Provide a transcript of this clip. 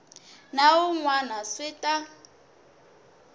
na wun wana swi ta